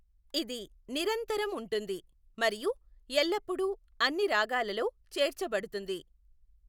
ఇది నిరంతరం ఉంటుంది మరియు ఎల్లప్పుడూ అన్ని రాగాలలో చేర్చబడుతుంది.